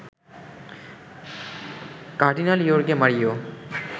cardinal ইর্য়গে Mario